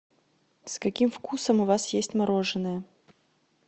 с каким вкусом у вас есть мороженое